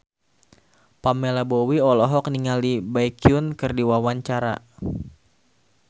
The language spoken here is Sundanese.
Pamela Bowie olohok ningali Baekhyun keur diwawancara